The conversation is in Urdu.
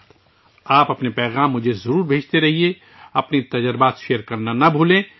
مجھے اپنے پیغامات بھیجتے رہیں، اپنے تجربات شیئر کرنا نہ بھولیں